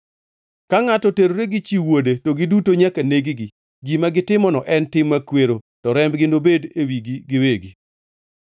Ka ngʼato oterore gi chi wuode to giduto nyaka neg-gi. Gima gitimono en tim makwero to rembgi nobedi e wigi giwegi.